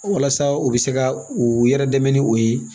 Walasa u bɛ se ka u yɛrɛ dɛmɛ ni o ye